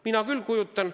Mina küll kujutan.